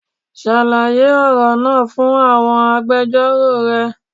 Ṣàlàyé ọ̀rọ̀ náà fún àwọn agbẹjọ́rò rẹ